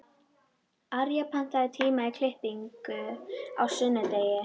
Arja, pantaðu tíma í klippingu á sunnudaginn.